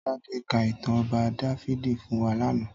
Tade kà itàn Òbà Dàfidi fún wà làná